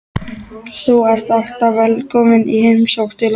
Þú ert alltaf velkomin í heimsókn til okkar.